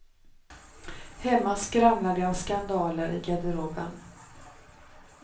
Hemma skramlar det av skandaler i garderoben.